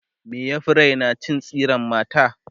me ya Fi Raina cin tsiran mata